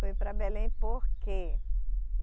Foi para Belém por quê?